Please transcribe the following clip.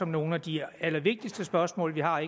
nogle af de allervigtigste spørgsmål vi har